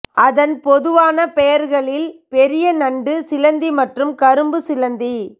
அதன் பொதுவான பெயர்களில் பெரிய நண்டு சிலந்தி மற்றும் கரும்பு சிலந்தி